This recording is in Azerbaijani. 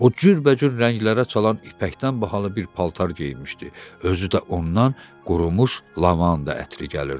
O cürbəcür rənglərə çalan ipəkdən bahalı bir paltar geyinmişdi, özü də ondan qurumuş lavanda ətri gəlirdi.